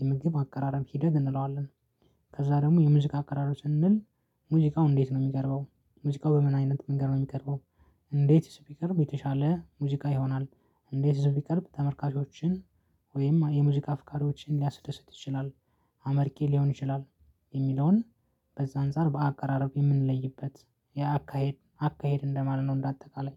የምግብ አከራረም ሂደት እንለዋለን። ከዛ ደግሞ የሙዚቃ አቀራረብ ስንል። ሙዚቃው እንዴት ነው የሚቀርበው? ሙዚቃው በምን አይነት መንገድ ነው የሚቀርበው? እንዴት ሲቀርብ የተሻለ ሙዚቃ ይሆናል። እንዴት ቢቀርብ ተመርካቾችን ወይም የሙዚቃ አፍካሪዎችን ሊያስደስት ይችላል? አመርቄ ሊሆን ይችላል። የሚለውን በዛ አንፃር በአቀራረቡ የምንለይበት የአካሄድ አካሄድ እንደማለት ነው። እንደአጠቃላይ